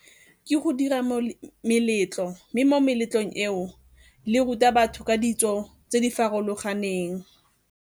Ke go dira meletlo, mme mo meletlong eo le ruta batho ka ditso tse di farologaneng.